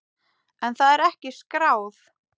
En það er ekki skráð.